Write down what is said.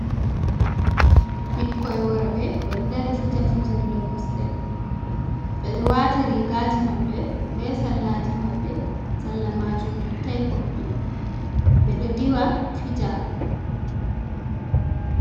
Ɓikkoy worɓe, ɓe ɗo dari fija fijirle kosɗe, ɓe ɗo waati riigaji maɓɓe be sallaji maɓɓe, salla maajum yottay koppi, ɓe ɗo diwa fija.